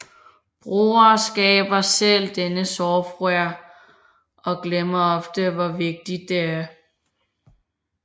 Brugere skaber selv denne software og glemmer ofte hvor vigtig det er